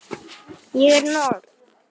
Ég er norn.